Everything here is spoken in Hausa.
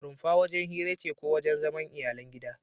Rumfa wajen hira ce ko wajen zaman iyalan gida